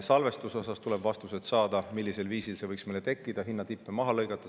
Salvestuse kohta tuleb vastused saada, millisel viisil see võiks meile tekkida, kuidas hinnatippe maha lõigata.